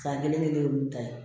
San kelen kelen ninnu ta ye